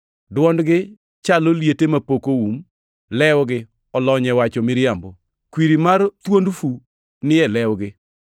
“Dwondgi chalo liete mapok oum; lewgi olony e wacho miriambo.” + 3:13 \+xt Zab 5:9\+xt* “Kwiri mar thuond fu ni e lewgi.” + 3:13 \+xt Zab 140:3\+xt*